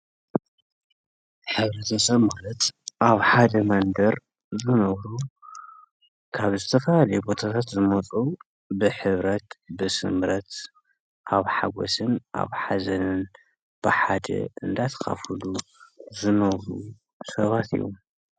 ሕብረተሰብ ማለት ኣብ ሓደ መንደር ዝነብሩ ካብ ዝተፈላለየ ቦታታት ዝመፁ ብሕብረት ብስምረት ኣብ ሓጎስን ኣብ ሓዘንን ብሓደ እንዳ ተኻፈሉ ዝነብሩ ሰባት እዮም ።